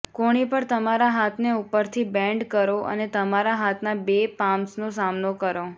કોણી પર તમારા હાથને ઉપરથી બેન્ડ કરો અને તમારા હાથના બે પામ્સનો સામનો કરો